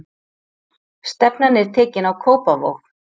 Stefnan er tekin á Kópavog.